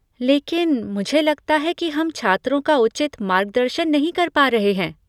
लेकिन मुझे लगता है कि हम छात्रों का उचित मार्गदर्शन नहीं कर पा रहे हैं।